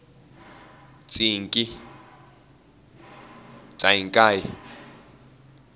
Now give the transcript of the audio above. tsinkie